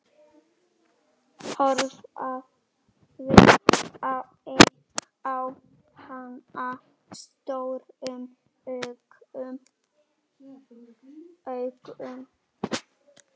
Horfði á hana stórum augum.